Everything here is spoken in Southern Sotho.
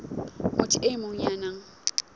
motho e mong ya nang